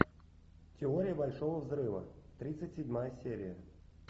теория большого взрыва тридцать седьмая серия